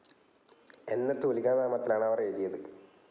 എന്ന തൂലികാനാമത്തിലാണ് അവർ എഴുതിയത്.